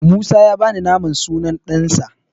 Musa ya bani naman sunan ɗansa.